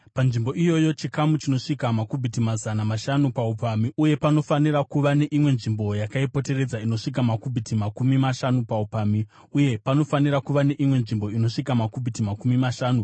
Panzvimbo iyoyi, chikamu chinosvika makubhiti mazana mashanu paupamhi uye panofanira kuva neimwe nzvimbo yakaipoteredza inosvika makubhiti makumi mashanu paupamhi uye panofanira kuva neimwe nzvimbo inosvika makubhiti makumi mashanu.